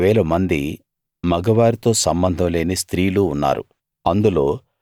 32000 మంది మగవారితో సంబంధం లేని స్త్రీలు ఉన్నారు